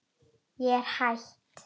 Ég er hætt.